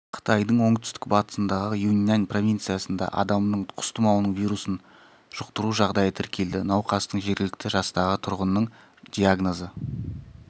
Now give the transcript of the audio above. қытайдың оңтүстік-батысындағы юньнань провинциясында адамның құс тұмауының вирусын жұқтыру жағдайы тіркелді науқастың жергілікті жастағы тұрғынның диагнозы